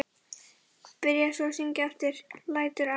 Byrjaði svo að syngja aftur: LÆTUR Á